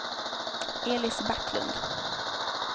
Elis Backlund